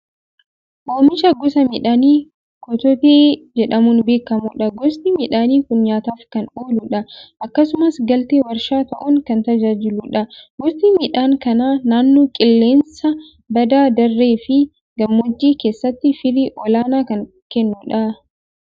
Oomisha gosa midhaanii kototee jedhamuun beekamudha. Gosti midhaanii kun nyaataaf kan ooludha. Akkasumas galtee warshaa ta'uun kan tajaajiludha. Gosti midhaan kanaa naannoo qilleensa badda daree fi gammoojjii keessatti firii olaanaa kan kennudha.